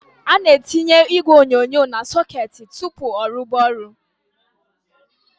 A NA- ETỊNYE ỊGWE ỌNYỌNYỌ NA - SỌKETỊ TỤPỤ ỌRUBA ORỤ.